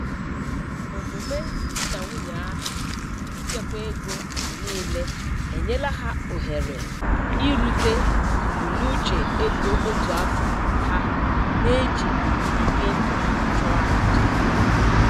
Omume di na nwunye ahụ ichekwa ego mgbe niile enyela ha ohere irute mbunuche ego otu afọ ha na-ejighị ibi ndụ ha chụọ aja.